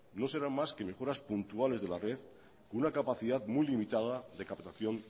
no serán más que mejoras puntuales de la red con una capacidad muy limitada de captación